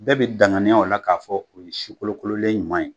Bɛɛ bi danganiya o la k'a fɔ o ye sikolokololen ɲuman ye